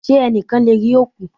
Ṣé ẹnìkan lè rí òkú?